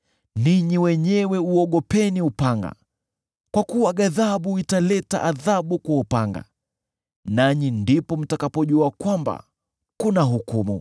ninyi wenyewe uogopeni upanga, kwa kuwa ghadhabu italeta adhabu kwa upanga, nanyi ndipo mtakapojua kwamba kuna hukumu.”